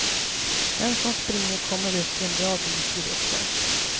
Den som springer kommer upp en bra bit i luften.